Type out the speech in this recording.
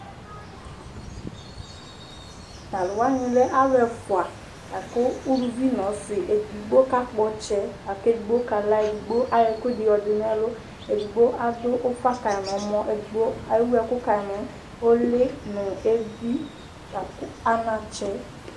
Tʋ alʋ wanɩ lɛ alʋ ɛfʋa: uluvi nʋ ɔsɩ Edigbo ka kpɔ ɔtsɛ, kʋ edigbo kala Lakʋ edigbo ayɔ ɛkʋ ɛdɩ yɔ dʋ nʋ ɛlʋ Edigbo adʋ ufa kayɩ nʋ ɛmɔ Edigbo ewʋ ɛkʋ kayɩ nʋ ʋlɩ nʋ evi